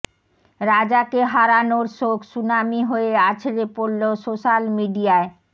রাজাকে হারানোর শোক সুনামি হয়ে আছড়ে পড়ল সোশ্যাল মিডিয়ায়